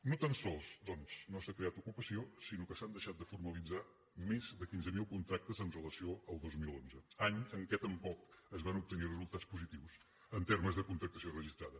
no tan sols doncs no s’ha creat ocupació sinó que s’han deixat de formalitzar més de quinze mil contractes en relació al dos mil onze any en què tampoc es van obtenir resultats positius en termes de contractació registrada